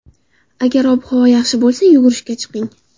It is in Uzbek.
Agar ob-havo yaxshi bo‘lsa, yugurishga chiqing.